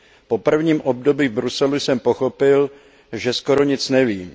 Po prvním období v Bruselu jsem pochopil, že skoro nic nevím.